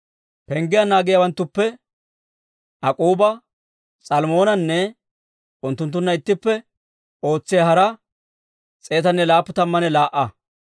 Penggiyaa naagiyaawanttuppe Ak'k'uuba, S'almmoonanne unttunttunna ittippe ootsiyaa hara 172.